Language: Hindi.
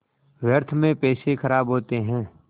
व्यर्थ में पैसे ख़राब होते हैं